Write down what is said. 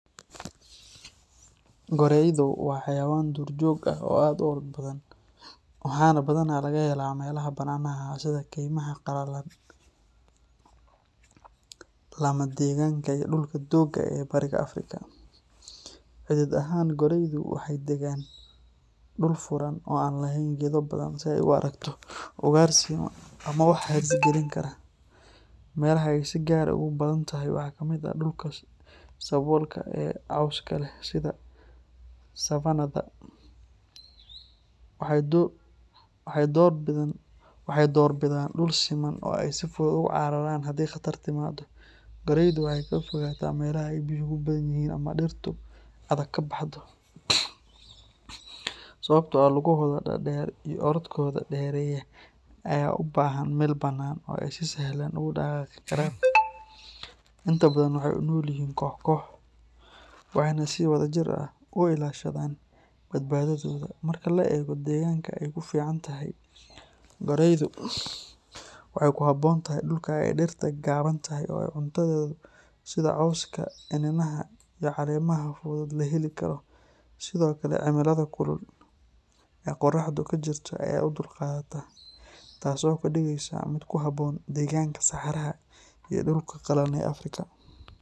Goraydu waa xayawaan duurjoog ah oo aad u orod badan, waxaana badanaa laga helaa meelaha bannaanaha ah sida keymaha qallalan, lamadegaanka iyo dhulka doogga leh ee bariga Afrika. Cidhiidh ahaan, goraydu waxay degaan dhul furan oo aan lahayn geedo badan, si ay u aragto ugaarsiga ama wax halis gelin kara. Meelaha ay si gaar ah ugu badantahay waxaa ka mid ah dhulka saboolka ah ee cawska leh sida savannah-da. Waxay door bidaan dhul siman oo ay si fudud ugu cararaan haddii khatar timaado. Goraydu waxay ka fogaataa meelaha ay biyuhu ka badan yihiin ama dhirta adag ka baxdo, sababtoo ah lugahooda dhaadheer iyo orodkooda dheereeya ayaa u baahan meel bannaan oo ay si sahlan ugu dhaqaaqi karaan. Inta badan waxay u nool yihiin koox koox, waxayna si wadajir ah u ilaashadaan badbaadadooda. Marka la eego deegaanka ay ku fiican tahay, goraydu waxay ku habboon tahay dhulka ay dhirta gaaban tahay oo ay cuntadeeda sida cawska, iniinaha iyo caleemaha fudud ka heli karto. Sidoo kale, cimilada kulul ee qorraxdu ka jirto ayay u dulqaadataa, taas oo ka dhigaysa mid ku habboon deegaanka saxaraha iyo dhulka qallalan ee Afrika.